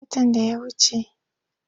Tun watan da ya wace.